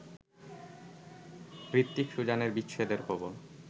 হৃত্বিক-সুজানের বিচ্ছেদের খবর